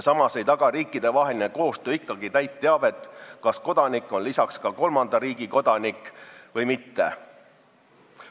Samas ei taga riikidevaheline koostöö ikkagi täit teavet, kas kodanik on lisaks ka kolmanda riigi kodanik või mitte.